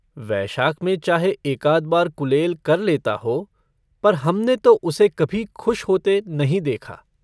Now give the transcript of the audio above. वैशाख में चाहे एकाध बार कुलेल कर लेता हो पर हमने तो उसे कभी खुश होते नहीं देखा।